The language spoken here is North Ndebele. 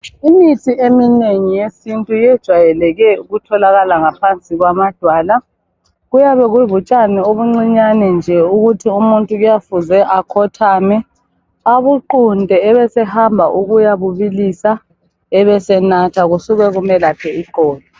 Imithi eminengi yesintu yejwayeleke ukutholakala ngaphansi kwamadwala, kuyabaye kubutshani obuncinyane nje ukuthi umuntu kuyafuze akhothame abunqhunte ebesehamba ukuyabubilisa ebesenatha kusuka kumelaphe iqolo.